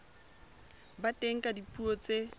ba teng ka dipuo tse